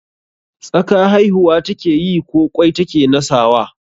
Tsaka haihuwa ta keyi ko ƙwai ta ke nasawa?